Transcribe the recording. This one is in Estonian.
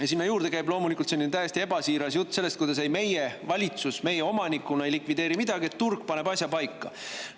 Ja sinna juurde käib loomulikult selline täiesti ebasiiras jutt sellest, et ei, meie, valitsus, meie omanikuna ei likvideeri midagi, et turg paneb asja paika.